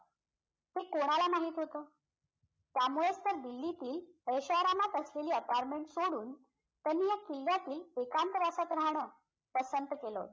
हे कोणाला माहित होतं त्यामुळेच तर दिल्लीतील ऐशोआरामात असलेली apartment सोडून त्यांनी या किल्ल्यातील एकांतवासात राहणं पसंत केलं होतं